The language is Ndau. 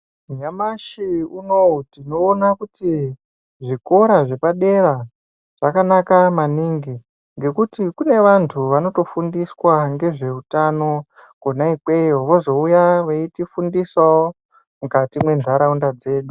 Nyamashi unowu tinoona kuti zvikora zvepadera zvakanaka maningi ngekuti kune antu anotofundiswa ngezvehutano Kona ikweyo vozouya veitifundisawo mukati mendaraunda dzedu.